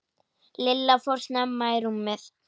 Lilla fór snemma í rúmið.